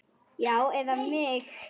Já, eða mig?